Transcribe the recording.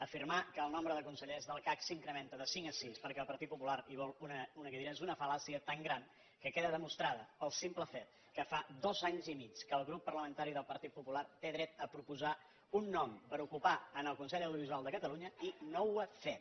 afirmar que el nombre de consellers del cac s’incrementa de cinc a sis perquè el partit popular hi vol una cadira és una fal·làcia tan gran que queda demostrada pel simple fet que fa dos anys i mig que el grup parlamentari del partit popular té dret a proposar un nom per ocupar en el consell de l’audiovisual de catalunya i no ho ha fet